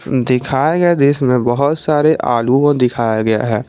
दिखाए गए दृश्य में बहुत सारे आलू को दिखाया गया है।